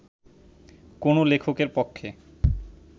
কোনো লেখকের পক্ষে